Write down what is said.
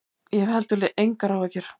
Ég hef heldur engar áhyggjur.